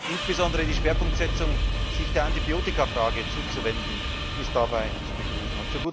insbesondere die Schwerpunktsetzung, sich der Antibiotikafrage zuzuwenden, ist dabei zu begrüßen.